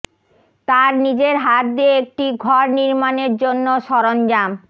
তার নিজের হাত দিয়ে একটি ঘর নির্মাণের জন্য সরঞ্জাম